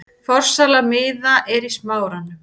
Forsala miða er í Smáranum.